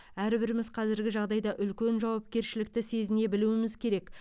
әрбіріміз қазіргі жағдайда үлкен жауапкершілікті сезіне білуіміз керек